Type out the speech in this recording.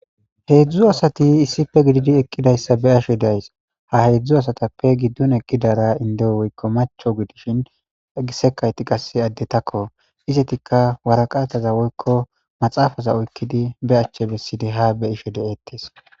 heedzdzu asati issife gididi eqqidayssa be ashe days ha heedzdzu asatappe giddun eqqidara indeo woykko macho gidishin egisekayti qasse addetakko izetikka waraqaathaza woykko maxaafaza oykkidi be achche bessidi ha be isho de7ettes